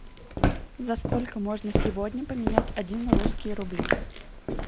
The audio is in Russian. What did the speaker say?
за сколько можно сегодня поменять один русские рубли